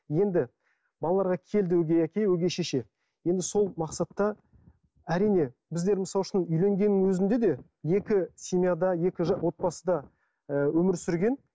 енді балаларға келді өгей әке өгей шеше енді сол мақсатта әрине біздер мысал үшін үйленгеннің өзінде де екі семьяда екі отбасыда өмір сүрген